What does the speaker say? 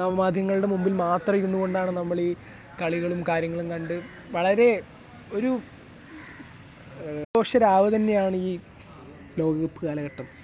നവമാധ്യമങ്ങളുടെ മുന്നിൽ മാത്രം ഇരുന്നു കൊണ്ടാണ് നമ്മൾ ഈ കളികളും കാര്യങ്ങളും കണ്ട് , വളരെ .., ഒരു ആഘോഷരാവ് തന്നെയാണ് ഈ ലോകകപ്പ് കാലഘട്ടം.